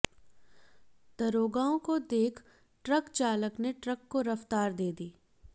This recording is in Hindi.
दरोगाओं को देख ट्रक चालक ने ट्रक को रफ्तार दे दी